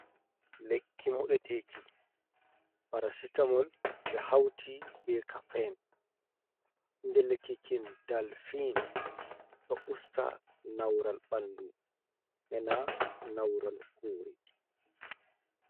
Lekki moɗeteeki parasitamol ɓe hauti be kafen inde lekki kin dalfin ɗo usta naural banɗu ena naural hoore.